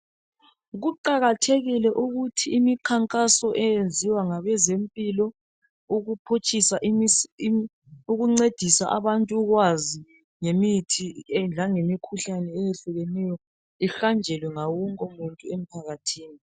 Kuqakathekile ukuthi imikhankaso eyenziwa ngabezempilo ukuphutshisa ukuncedisa abantu ukwazi ngemithi langemikhuhlane eyehlukeneyo ihanjelwe ngawonke muntu emphakathini.